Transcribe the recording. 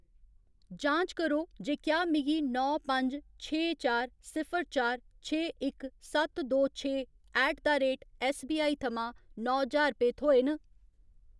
जांच करो जे क्या मिगी नौ पंज छे चार सिफर चार छे इक सत्त दो छे ऐट द रेट ऐस्सबीआई थमां नौ ज्हार रपेऽ थ्होए न।